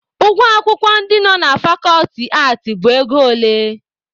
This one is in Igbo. Ụgwọ akwụkwọ ndị nọ ná fakọlti aatị bụ ego ole?